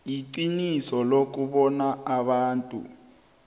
iqiniso lokobana abantu